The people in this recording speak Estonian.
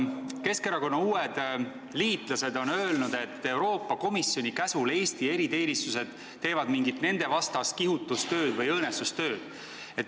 Keskerakonna uued liitlased on öelnud, et Euroopa Komisjoni käsul teevad Eesti eriteenistused mingit nendevastast kihutustööd või õõnestustööd.